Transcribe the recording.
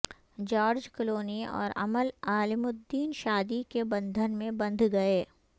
George Clooney اور Amal Alamuddin شادی کے بندھن میں بندھ گئے